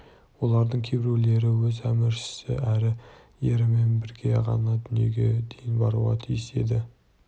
олардың кейбіреулері өз әміршісі әрі ерімен бірге ана дүниеге дейін баруға тиіс еді